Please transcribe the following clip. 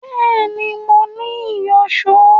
Bẹ́ẹ̀ni, mo ní ìyọ̀ṣó